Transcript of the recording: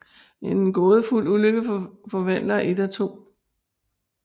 En gådefuld ulykke forvandler et af 2